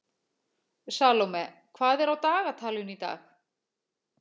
Salome, hvað er á dagatalinu í dag?